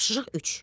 Tapşırıq üç.